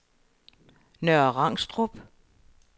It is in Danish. Nørre Rangstrup